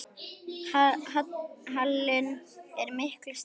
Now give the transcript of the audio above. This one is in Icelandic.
Halinn er miklu stærri.